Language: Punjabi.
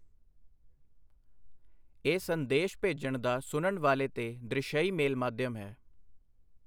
ਇਹ ਸੰਦੇਸ਼ ਭੇਜਣ ਦਾ ਸੁਣਨ ਵਾਲੇ ਤੇ ਦ੍ਰਿਸ਼ਈ ਮੇਲ ਮਾਧਿਅਮ ਹੈ।